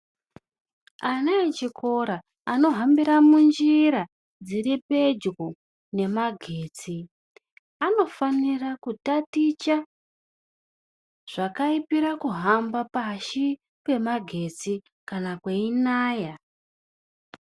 Ana echikora, anohambira munjira dziri pedyo nemagetsi, anofanira kutaticha zvakaipira kuhamba pashi pemagetsi kana kweinaya.